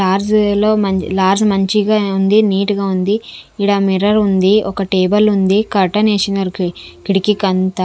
LADS లో lodge మంచిగా ఉంది నీట్ గా ఉంది ఈడ మిర్రర్ ఉంది ఒక టేబుల్ ఉంది కర్టెన్ వేసినారు కిటికీకి అంతా.